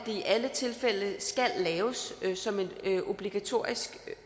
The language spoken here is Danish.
i alle tilfælde skal laves som en obligatorisk